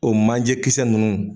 O manje kisɛ nunnu